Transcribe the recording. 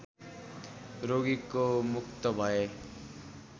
रोगीको मुक्त भए